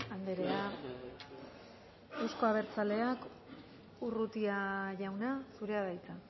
andrea euzko abertzaleak urrutia jauna zurea da hitza